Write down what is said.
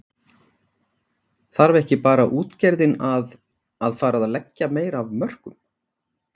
Þarf ekki bara útgerðin að, að fara að leggja meira af mörkum?